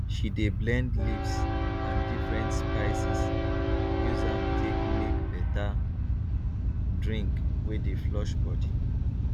she de blend leaves and different spices use am take make better drink wey dey flush body